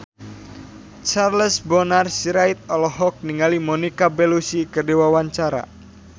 Charles Bonar Sirait olohok ningali Monica Belluci keur diwawancara